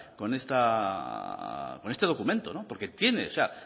con este documento porque tiene o sea